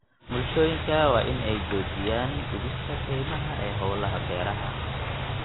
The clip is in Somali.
Bulshooyinka waa in ay joojiyaan gubista kaymaha ee hawlaha beeraha.